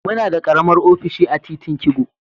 Muna da karamar ofishi a titin kigo.